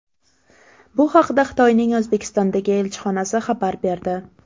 Bu haqda Xitoyning O‘zbekistondagi elchixonasi xabar berdi .